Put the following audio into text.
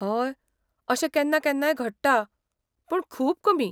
हय, अशें केन्ना केन्नाय घडटा, पूण खूब कमी.